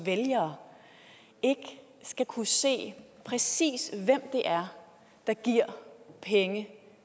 vælgere ikke skal kunne se præcis hvem det er der giver penge